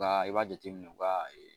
O ka i b'a jateminɛ o ka